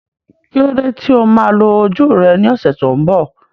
Kí ló dé tí o máa lo ojú rẹ ní ọ̀sẹ̀ tó ń bọ̀?